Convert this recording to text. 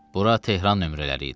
Bura Tehran nömrələri idi.